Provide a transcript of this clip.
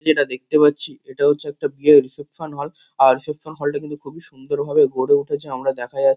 যেটা দেখতে পাচ্ছি এটা হচ্ছে একটা বিয়ের রিসেপশন হল । আর রিসেপশন হল -টা কিন্তু খুবই সুন্দর ভাবে গড়ে উঠেছে। আমরা দেখা যাচ্ছে --